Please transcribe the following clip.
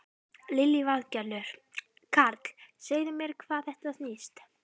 Lillý Valgerður: Karl, segð þú mér um hvað þetta snýst?